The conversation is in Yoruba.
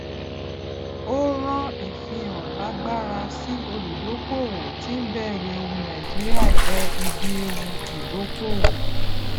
ó rán ìfihàn lágbara sí olùdókóòwò tí ń bẹrù ewu nàìjíríà jẹ ibi ewu ìdókóòwò